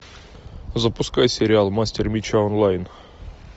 запускай сериал мастер меча онлайн